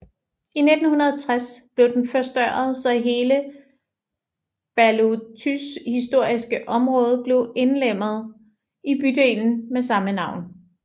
I 1960 blev den forstørret så hele Bałutys historiske område blev indlemmet i bydelen med samme navn